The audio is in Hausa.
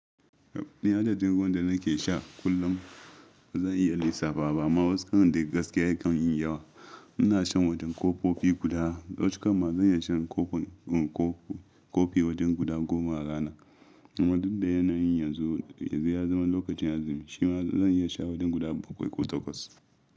Ni adadin ruwan da nake sha kullum bazan iya lissafawa ba amma wasu karon de gaskiya ya kan mun yawa. Ina shan wadon kofi guda, locukka ma zan iya shan kofi wajen guda goma a rana. Wadanda yana yin yanzu, yanzu ya zama lokacin azumi shi ma zan iya sha wadon guda bakwai ko takwas.